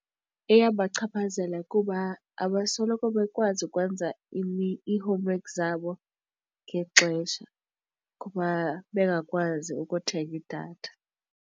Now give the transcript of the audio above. Iyabachaphazela kuba abasoloko bekwazi ukwenza i-homework zabo ngexesha kuba bengakwazi ukuthenga idatha.